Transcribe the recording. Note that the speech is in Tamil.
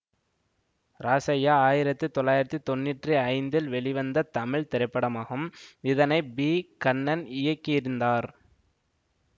ராசய்யா ஆயிரத்தி தொளாயிரத்தி தொண்ணூற்றி ஐந்தில் வெளிவந்த தமிழ் திரைப்படமாகும் இதனை பி கண்ணன் இயக்கியிருந்தார்